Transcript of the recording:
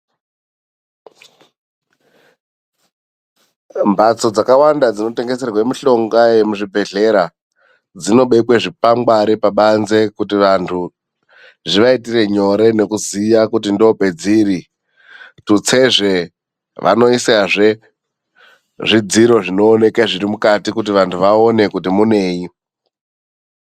Mbatso dzakawanda dzinotengeserwa mushonga yemuzvibhedhlera dzinobekwe zvikwangwari pabanze, kuti vantu zvivaitire nyore nekuziya kuti ndoopedziri. Tutsezve vanoisazve zvidziro zvinooneka zviri mukati, kuti vantu vaone kuti munei.